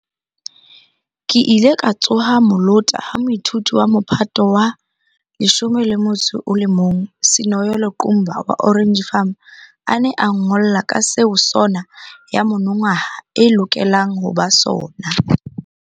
Ke ile ka tsoha molota ha moithuti wa Mophato wa 11 Sinoyolo Qumba wa Orange Farm a ne a nngolla ka seo SoNA ya monongwaha e lokelang ho ba sona.